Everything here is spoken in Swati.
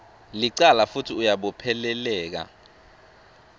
licala futsi uyabopheleleka